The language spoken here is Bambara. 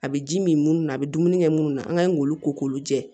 A bɛ ji min na a bɛ dumuni kɛ minnu na an ka ɲi k'olu ko k'olu jɛ